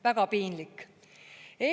Väga piinlik!